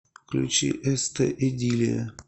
включи эстэ идиллия